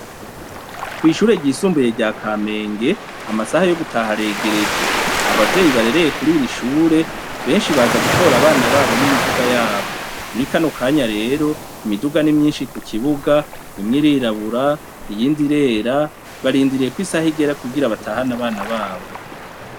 Kw'ishure ryisumbuye rya kamenge amasaha yo gutaha aregereje abavyeyi barereye kuriri shure benshi baza gutora abana babo n'imiduga yabo muri kano kanya rero imiduga n'imyinshi ku kibuga imwe irirabura iyindi irera barindiriye ko isaha igera kugira batahane abana babo.